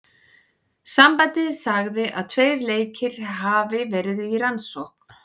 Sambandið sagði að tveir leikir hafi verði í rannsókn.